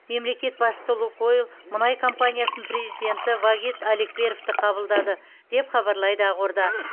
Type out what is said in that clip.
мемлекет басшысы лукойл мұнай компаниясының президенті вагит алекперовті қабылдады деп хабарлайды ақорда